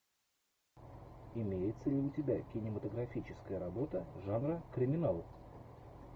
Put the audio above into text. имеется ли у тебя кинематографическая работа жанра криминал